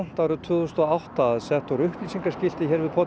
að sett voru upplýsingaskilti hér við pollinn um